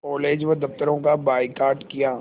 college व दफ़्तरों का बायकॉट किया